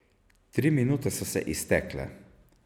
Tri minute so se iztekle.